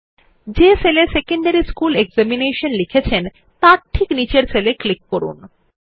যে সেল এ secondary school examination লিখেছে তার ঠিক নিচের সেল এ ক্লিক করুন